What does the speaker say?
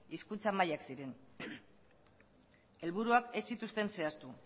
hizkuntza mailak ziren helburuak ez zituzten zehaztu